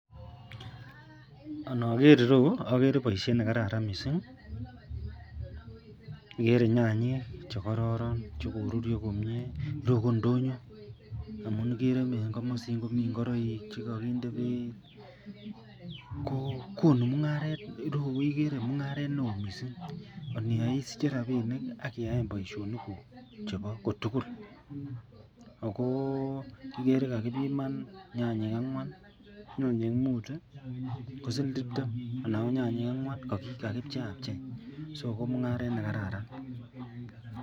Anger ireyu agere baishet nekararan mising agere nyanyik chekororon chekorurio komie ak chebo ndonyo amun igere en gamasin komiten ingoroik chekakinde beit ko konu mungaret aknireyu kokonu mungaret neon akoniyai isiche rabinik akiyaen baishoni guk chebo kotugul akoigere kokaibiman nyanyik angwan, nyanyik mut ,kosiling tibtem ak nyanyik angwan kokakipcheiab chei so komungaret nekararan.